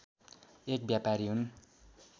एक व्यापारी हुन्